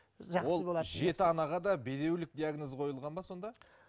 ол жеті анаға да бедеулік диагнозы қойылған ба сонда